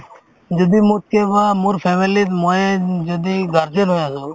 যদি কে কোৱা মোৰ family ত ময়ে উম যদি guardian হৈ আছো